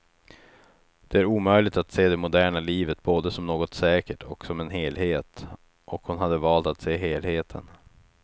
Det är omöjligt att se det moderna livet både som något säkert och som en helhet, och hon hade valt att se helheten.